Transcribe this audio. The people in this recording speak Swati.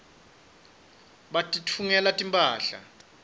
batitfungela timphahla